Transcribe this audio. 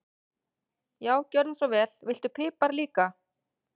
Já, gjörðu svo vel. Viltu pipar líka?